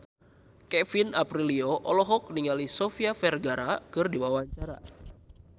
Kevin Aprilio olohok ningali Sofia Vergara keur diwawancara